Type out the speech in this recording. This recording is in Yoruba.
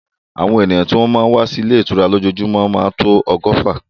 Àwọn èyàn tó má ń wá sí ilé ìtura lójúmọ́ máa tó ọgọ́fà.